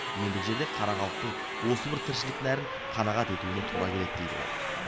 енді жерде қара халықтың осы бір тіршілік нәрін қанағат етуіне тура келеді дейді ол